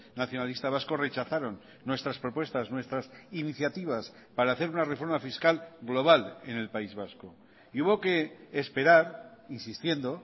nacionalista vasco rechazaron nuestras propuestas nuestras iniciativas para hacer una reforma fiscal global en el país vasco y hubo que esperar insistiendo